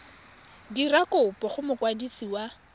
dira kopo go mokwadisi wa